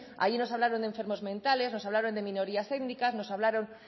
allí nos hablaron de enfermos mentales nos hablaron de minorías étnicas nos hablaron